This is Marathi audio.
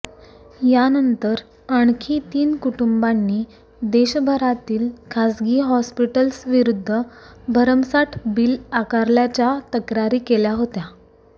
यानंतर आणखी तीन कुटुंबांंनी देशभरातील खासगी हॉस्पिटल्सविरुद्ध भरमसाट बिल आकारल्याच्या तक्रारी केल्या होत्या